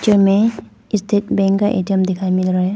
चित्र में state bank का ए_टी_एम दिखाई मिल रहा है।